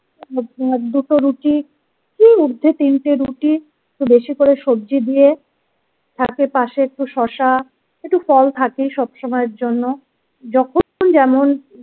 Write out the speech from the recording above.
দুটো রুটিই ঊর্ধ্বে তিনটে রুটি একটু বেশি করে সবজি দিয়ে থাকে পাশে একটু শশা একটু ফল থাকেই সবসময়ের জন্য যখন যেমন।